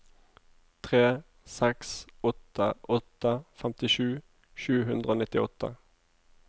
tre seks åtte åtte femtisju sju hundre og nittiåtte